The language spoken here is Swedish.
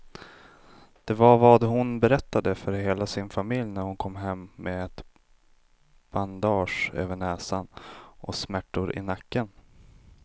Det var vad hon berättade för hela sin familj när hon kom hem med ett bandage över näsan och smärtor i nacken.